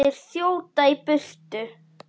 Þeir þjóta í burtu.